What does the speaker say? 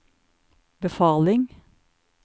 befaling